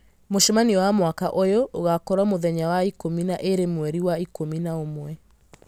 mũcemanio wa mwaka ũyũ ũgaakorwo mũthenya wa ikũmi na ĩĩrĩ mweri wa ikũmi na ũmwe